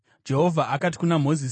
Jehovha akati kuna Mozisi,